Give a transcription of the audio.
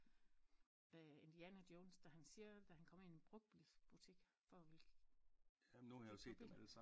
Øh Indiana Jones da han siger da han kommer ind i brugtbilsbutik for at ville købe nogle biler